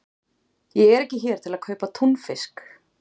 Ég er ekki hér til að kaupa túnfisk.